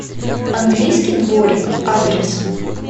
английский дворик адрес